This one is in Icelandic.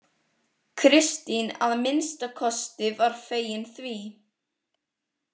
Kristín að minnsta kosti var fegin því.